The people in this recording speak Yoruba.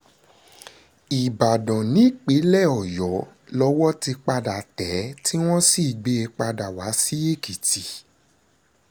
ìbàdàn nípínlẹ̀ ọ̀yọ́ lowó ti padà tẹ̀ ẹ́ tí wọ́n sì gbé e padà wá sí èkìtì